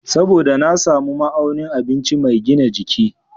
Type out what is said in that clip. Saboda na samu nau'o'in abinci mai gina jiki.